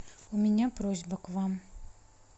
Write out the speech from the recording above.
у меня просьба к вам